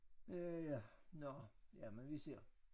Ja ja nåh jamen vi ser